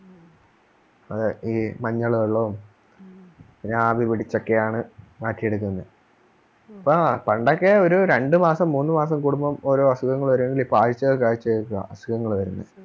അതെ ഈ മഞ്ഞൾ വെള്ളവും ആവി പിടിച്ചൊക്കെയാണ് മാറ്റി എടുക്കുന്നത് ആ പണ്ടൊക്കെ ഒരു രണ്ടുമാസം മൂന്നുമാസം കൂടുബം ഓരോഅസുഖങ്ങൾ വരുമെങ്കിൽ ഇപ്പോ ആഴ്ചകൾക്ക് ആഴ്ചകൾക്ക് അസുഖങ്ങൾ വരുന്നത്